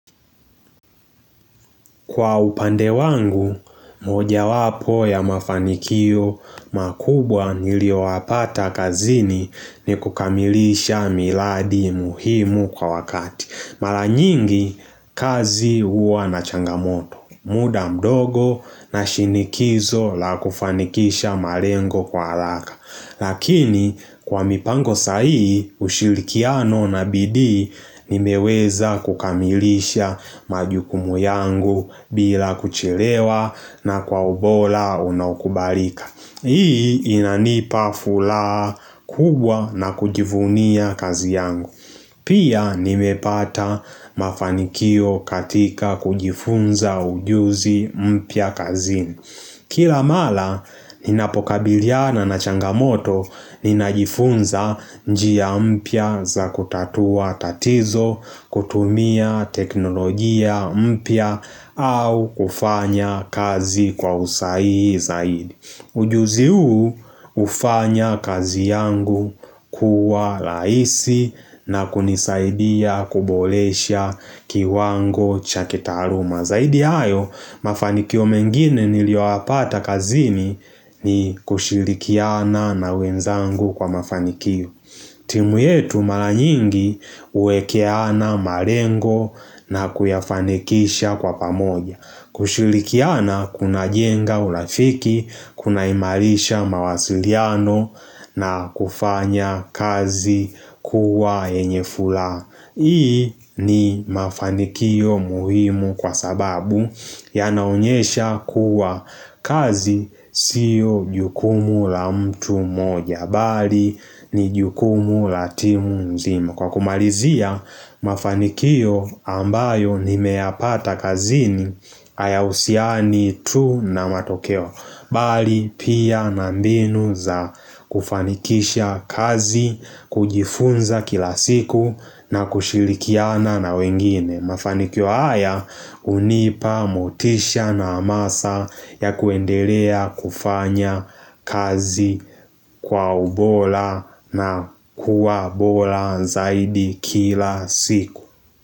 Kwa upande wangu, mojawapo ya mafanikio makubwa nilioyapata kazini ni kukamilisha miradi muhimu kwa wakati. Mara nyingi, kazi huwa na changamoto. Muda mdogo na shinikizo la kufanikisha malengo kwa haraka. Lakini kwa mipango sahihi ushirikiano na bidii nimeweza kukamilisha majukumu yangu bila kuchelewa na kwa ubora unaokubalika. Hii inanipa furaha kubwa na kujivunia kazi yangu. Pia nimepata mafanikio katika kujifunza ujuzi mpya kazini. Kila mara ninapokabiliana na changamoto ninajifunza njia mpya za kutatua tatizo, kutumia teknolojia mpya au kufanya kazi kwa usahihi zaidi. Ujuzi huu hufanya kazi yangu kuwa rahisi na kunisaidia kuboresha kiwango cha kitaluma. Zaidi ya hayo mafanikio mengine nilioyapata kazini ni kushirikiana na wenzangu kwa mafanikio timu yetu maranyingi huwekeana malengo na kuyafanikisha kwa pamoja. Kushirikiana kunajenga urafiki, kunaimarisha mawasiliano na kufanya kazi kuwa yenye furaha. Hii ni mafanikio muhimu kwa sababu yanaonyesha kuwa kazi sio jukumu la mtu moja. Bali ni jukumu la timu nzima Kwa kumalizia mafanikio ambayo nimeyapata kazini hayahusiani tu na matokeo Bali pia na mbinu za kufanikisha kazi kujifunza kila siku na kushirikiana na wengine. Mafanikio haya hunipa motisha na hamasa ya kuendelea kufanya kazi kwa ubora na kuwa bora zaidi kila siku.